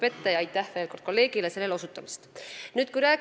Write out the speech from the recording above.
Veel kord aitäh kolleegile selle osutuse eest!